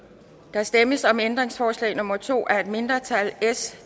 der stemmes om ændringsforslag nummer to af et mindretal